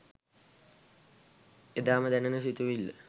එදාම දැනෙන සිතුවිල්ල